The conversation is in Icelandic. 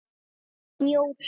Snjór, snjór.